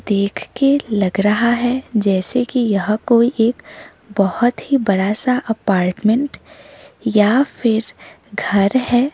देख के लग रहा है जैसे कि यह कोई एक बहोत ही बड़ा सा अपार्टमेंट या फिर घर है।